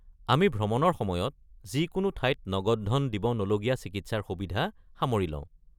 আমি ভ্ৰমণৰ সময়ত যিকোনো ঠাইত নগদ ধন দিব নলগীয়া চিকিৎসাৰ সুবিধা সামৰি লওঁ।